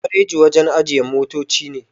Gareji wajen ajiye motoci ne